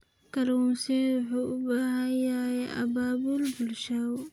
Kalluumeysigu wuxuu u baahan yahay abaabul bulsho.